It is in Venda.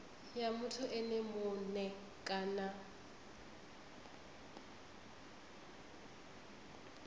ya muthu ene mue kana